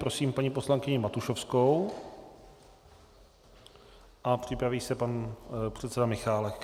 Prosím paní poslankyni Matušovskou a připraví se pan předseda Michálek.